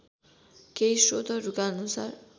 केही स्रोतहरूका अनुसार